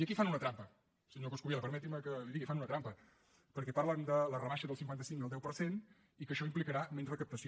i aquí fan una trampa senyor coscubiela permeti’m que li ho digui fan una trampa perquè parlen de la rebaixa del cinquanta cinc al deu per cent i que això implicarà menys recaptació